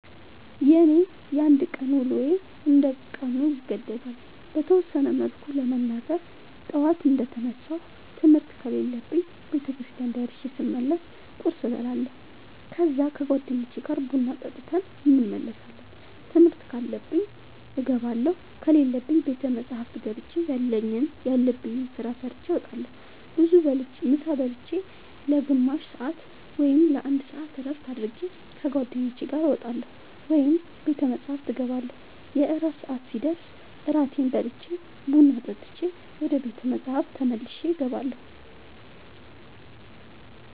የኔ የአንድ ቀን ውሎዬ እንደ ቀኑ ይገደባል። በተወሰነ መልኩ ለመናገር ጠዋት እንደ ተነሳሁ ትምህርት ከሌለብኝ ቤተክርስቲያን ደርሼ ስመለስ ቁርስ እበላለሁ ከዛ ከ ጓደኞቼ ጋር ቡና ጠጥተን እንመለሳለን ትምህርት ካለብኝ እገባለሁ ከሌለብኝ ቤተ መፅሐፍ ገብቼ ያለብኝን ስራ ሰርቼ እወጣለሁ። ምሳ ብልቼ ለ ግማሽ ሰአት ወይም ለ አንድ ሰአት እረፍት አድርጌ ከ ጓደኞቼ ጋር እወጣለሁ ወይም ቤተ መፅሐፍ እገባለሁ። የእራት ሰአት ሲደርስ እራቴን በልቼ ቡና ጠጥቼ ወደ ቤተ መፅሐፍ ተመልሼ እገባለሁ።